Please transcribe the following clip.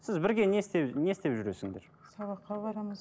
сіз бірге не не істеп жүресіңдер сабаққа барамыз